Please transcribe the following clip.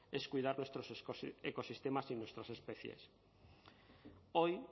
es cuidar nuestros ecosistemas y nuestras especies hoy